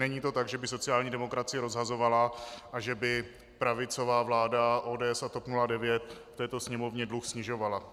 Není to tak, že by sociální demokracie rozhazovala a že by pravicová vláda ODS a TOP 09 v této Sněmovně dluh snižovala.